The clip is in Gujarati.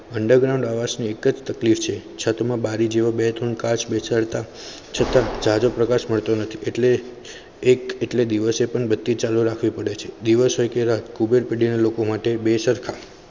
underground આ વર્ષે એક તકલીફ છે છત માં બારી જેવા બે ત્રણ કાચ બેસાડ તા છતા જજો પ્રકાશ મળતો નથી એટલે એક એટલે દિવસે પણ બચી ચાલુ રાખવી પડે છે. દિવસ હોય કે રાત ભુગર્બ પેડી ના લોકો માટે બે સરખા